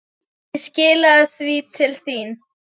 Ég skilaði því til þín.